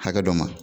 Hakɛ dɔ ma